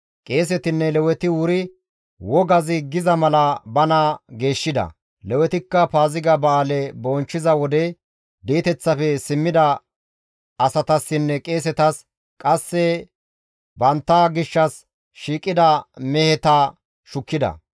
Qeesetinne Leweti wuri wogazi giza mala bana geeshshida; Lewetikka Paaziga ba7aale bonchchiza wode di7eteththafe simmida asatassinne qeesetas, qasse bantta gishshas shiiqida meheta shukkida.